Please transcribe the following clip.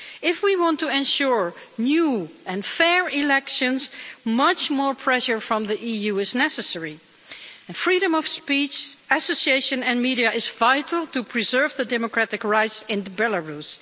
If we want to ensure new and fair elections, much more pressure from the EU is necessary, and freedom of speech, association and media is vital to preserve democratic rights in Belarus.